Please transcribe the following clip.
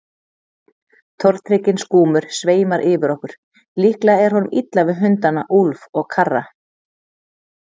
Tortrygginn skúmur sveimar yfir okkur, líklega er honum illa við hundana Úlf og Karra.